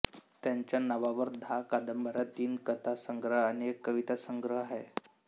त्यांच्या नावावर दहा कादंबऱ्या तीन कथा संग्रह आणि एक कविता संग्रह आहे